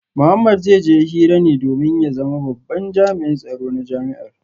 Mohammed zai je hira ne domin ya zama babban jami’in tsaro na jami’ar